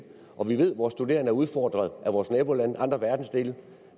og vi ved at vores studerende er udfordret af vores nabolande og af andre verdensdele